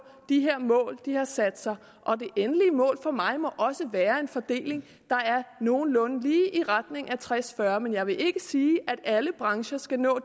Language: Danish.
de her mål de har sat sig det endelige mål for mig må også være en fordeling der er nogenlunde lige i retning af tres fyrre men jeg vil ikke sige at alle brancher skal nå